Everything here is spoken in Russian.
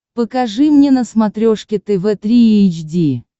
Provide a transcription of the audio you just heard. покажи мне на смотрешке тв три эйч ди